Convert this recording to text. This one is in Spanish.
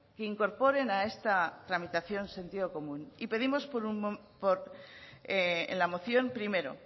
que incorporen a esta tramitación sentido común y pedimos en la moción primero